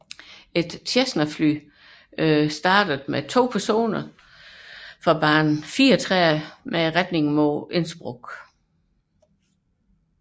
Et Cessna Citation startede med to personer om bord fra bane 34 med retning mod Innsbruck